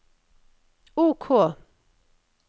OK